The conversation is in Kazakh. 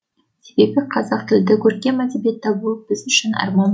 себебі қазақ тілді көркем әдебиет табу біз үшін арман